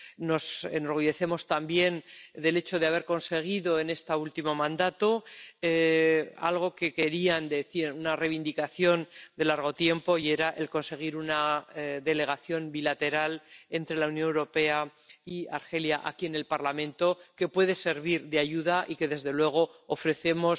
Nos enorgullecemos también de haber conseguido en este último mandato algo que quería —una reivindicación de largo tiempo— conseguir una delegación bilateral entre la Unión Europea y Argelia en el Parlamento, que puede servir de ayuda y que, desde luego, ofrecemos